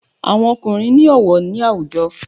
Àwọn ọkùnrín ni ọwọ ni awujo